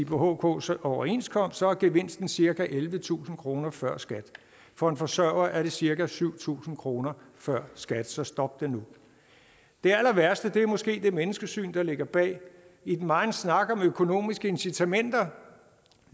på hks overenskomst er gevinsten cirka ellevetusind kroner før skat for en forsørger er det cirka syv tusind kroner før skat så stop det nu det allerværste er måske det menneskesyn der ligger bag i den megen snak om økonomiske incitamenter